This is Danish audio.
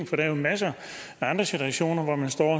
for der er masser af andre situationer hvor man står